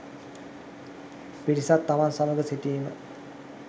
පිරිසක් තමන් සමඟ සිටීම